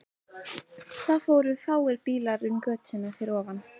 Það fóru fáir bílar um götuna fyrir ofan.